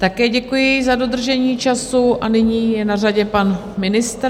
Také děkuji za dodržení času a nyní je na řadě pan ministr.